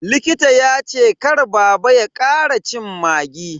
Likita ya ce kar baba ya kara cin maggi.